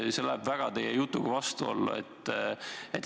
See läheb väga teie jutuga vastuollu.